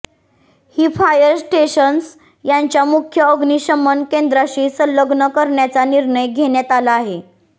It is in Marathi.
ही फायर स्टेशन्स त्यांच्या मुख्य अग्निशमन केंद्राशी संलग्न करण्याचा निर्णय घेण्यात आला आहे